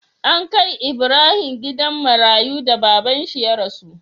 An kai Ibrahim gidan marayu da babban shi ya rasu